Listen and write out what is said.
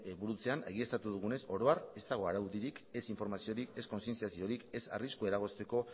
burutzean egiaztatu dugunez oro har ez dago araudirik ez informaziorik ez konzienziaziorik ez arriskua eragozteko